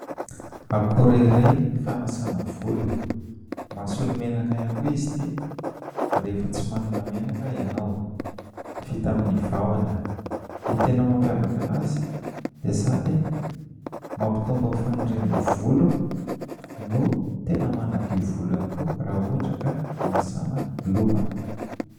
Akora iray fanasana volo ; mahasolo menaka ihany koa izy ity rehefa tsy manana menaka ianao ; vita amin'ny vahona. Ny tena mampiavaka anazy dia sady mampitombo ny fanirin'ny volo no tena manadio volo ihany koa raha ohatra ka hanasana loha.